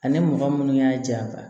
Ani mɔgɔ munnu y'a ja